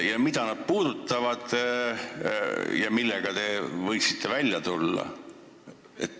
Ja mida need puudutavad?